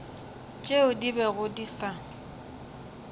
tšeo di bego di sa